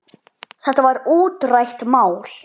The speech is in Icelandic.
Þetta var útrætt mál.